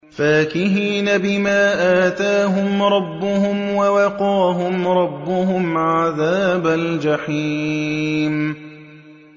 فَاكِهِينَ بِمَا آتَاهُمْ رَبُّهُمْ وَوَقَاهُمْ رَبُّهُمْ عَذَابَ الْجَحِيمِ